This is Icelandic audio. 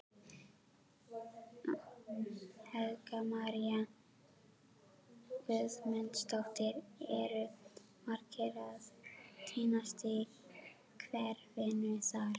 Helga María Guðmundsdóttir: Eru margir að týnast í kerfinu þar?